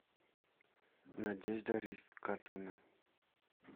надежда ривкатовна